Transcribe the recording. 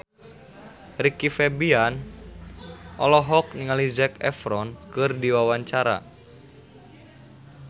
Rizky Febian olohok ningali Zac Efron keur diwawancara